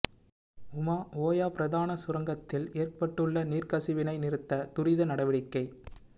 உமா ஓயா பிரதான சுரங்கத்தில் ஏற்பட்டுள்ள நீர்க்கசிவினை நிறுத்த துரித நடவடிக்கை